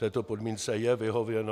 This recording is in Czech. Této podmínce je vyhověno.